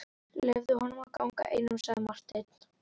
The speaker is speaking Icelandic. Leyfið honum að ganga einum, sagði Marteinn.